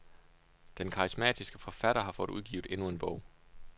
Den karismatiske forfatter har fået udgivet endnu en bog.